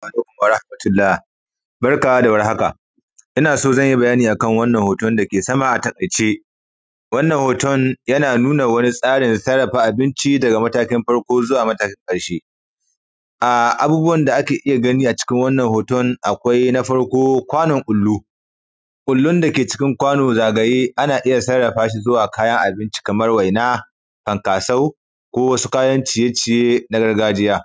Assalamu alaikum warahamatullah barka da warhaka ina so zanyi bayani akan wannan hoton dake sama a taikace. Wannan hoton yana nuna wani tsarin sarrafa abinci daga matakin farko zuwa matakin karshe. Abubuwan da ake iya gani a cikin wannan hoton akwai na farko kwanon ƙullu, ƙullun dake cikin kwano zagaye ana iya sarrafa shi zuwa kayan abinci kamar waina, fankaso, ko wasu kayan ciye ciye na gargajiya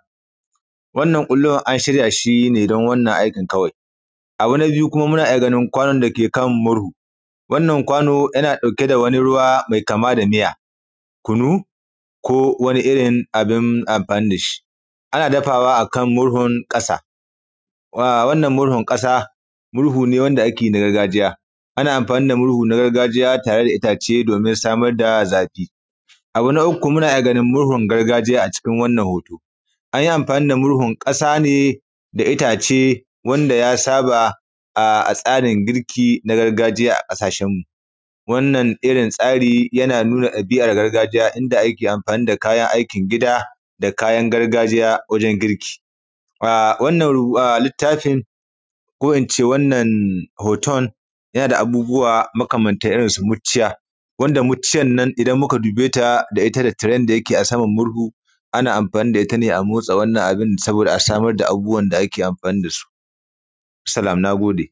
wannan kullun an shiryashi don wannan aikin kawai. Abu na biyu kuma muna iya ganin kwanon dake kan murhu, wannan kwano yana dauke da wani ruwa mai kama da miya, kunu ko wani irin abin amfani dashi. Ana dafawa akan murhun ƙasa wannan murhun ƙasa murhu ne wanda ake yi na gargajiya, ana amfani da murhu na gargajiya tare da itace domin samar da zafi. Abu na uku muna iya ganin murhun gargajiya a cikin wannan hoto anyi amfani da murhun ƙasa ne da itace wanda ya saɓa a tsarin girki na gargajiya a ƙasashenmu. Wannan irin tsari yana nuna ɗabi’an gargajiya inda ake amfani da kayan aikin gida da kayan gargajiya wajen girki. Wannan littafin ko ince wannan hoton yana da abubuwa makamantan irin su muciya wanda muciyan nan idan muka dubeta da ita da tiren dake saman murhu ana amfani da ita ne a motsa wannan abin saboda a samar da abubuwan da ake amfani dasu. Assalam na gode